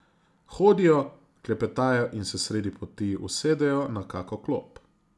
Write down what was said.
Hodijo, klepetajo in se sredi poti usedejo na kako klop.